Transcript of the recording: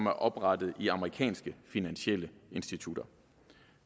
er oprettet i amerikanske finansielle institutter